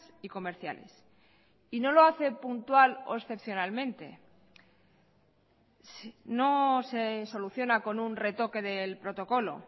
y comerciales y no lo hace puntual o excepcionalmente no se soluciona con un retoque del protocolo